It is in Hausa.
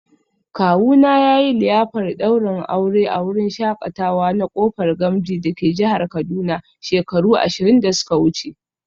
Kawuna yayi liyafar daurin aure a wurin shakatawa na Kofar Gamji dake jihar Kaduna shekaru ashirin da suka wuce